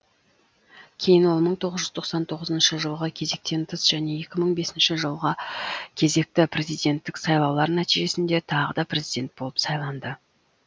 кейін ол мың тоғыз жүз тоқсан тоғызыншы жылғы кезектен тыс және екі мың бесінші жылғы кезекті президенттік сайлаулар нәтижесінде тағы да президент болып сайланды